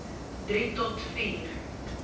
drie tot vier